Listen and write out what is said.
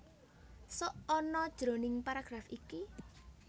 Sok ana jroning paragraf iki